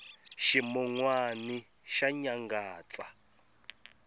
ximunwani xa nyangatsa